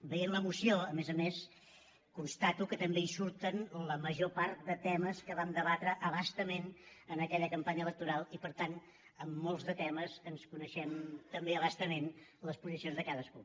veient la moció a més a més constato que també hi surten la major part de temes que vam debatre a bastament en aquella campanya electoral i per tant en molts de temes ens coneixem també a bastament les posicions de cadascú